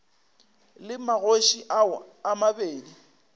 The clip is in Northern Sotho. le magoši ao a mabedi